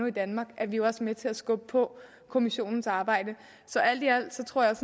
i danmark er vi jo også med til at skubbe på kommissionens arbejde så alt i alt tror jeg